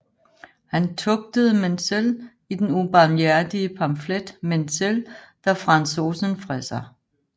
Han tugtede Menzel i den ubarmhjertige pamflet Menzel der Franzosenfresser